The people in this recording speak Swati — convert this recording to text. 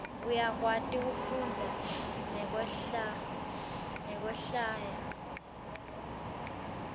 uyakwati kufundza nekwehlwaya